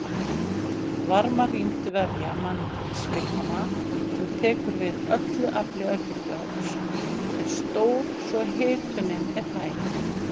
Varmarýmd vefja mannslíkama sem tekur við öllu afli örbylgjuofns er stór svo hitunin er hæg.